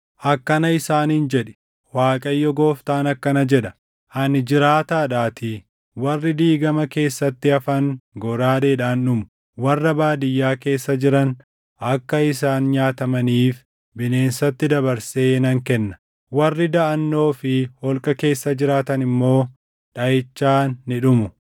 “Akkana isaaniin jedhi; ‘ Waaqayyo Gooftaan akkana jedha: Ani jiraataadhaatii, warri diigama keessatti hafan goraadeedhaan dhumu; warra baadiyyaa keessa jiran akka isaan nyaatamaniif bineensatti dabarsee nan kenna; warri daʼannoo fi holqa keessa jiraatan immoo dhaʼichaan ni dhumu.